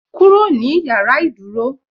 "Kúrò ní yàrá ìdúró"